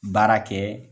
Baara kɛ